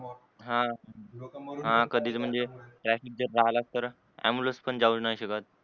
हा कधी म्हणजे traffic जर रहाला तर ambulance पण जावू शकत